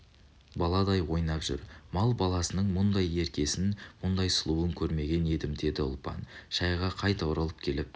баладай ойнап жүр мал баласының мұндай еркесін мұндай сұлуын көрмеген едім деді ұлпан шайға қайта оралып келіп